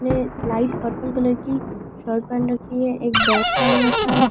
ने light purple colour की shirt पहन रखी है एक बैग टांग रखा है।